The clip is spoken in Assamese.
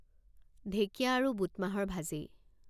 ঢেঁকীয়া আৰু বুট মাহৰ ভাজি